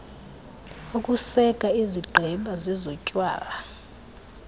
ukuseka izigqeba zezotywala